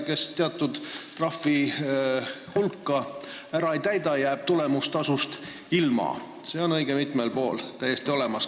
Kes teatud trahviplaani ei täida, jääb tulemustasust ilma – selline kord on õige mitmel pool täiesti olemas.